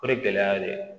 O ye gɛlɛya de ye